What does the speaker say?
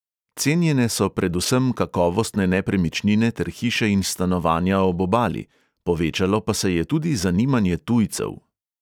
Cenjene so predvsem kakovostne nepremičnine ter hiše in stanovanja ob obali, povečalo pa se je tudi zanimanje tujcev.